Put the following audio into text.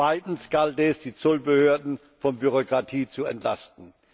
Zweitens galt es, die Zollbehörden von Bürokratie zu entlasten.